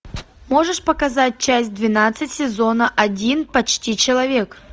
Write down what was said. можешь показать часть двенадцать сезона один почти человек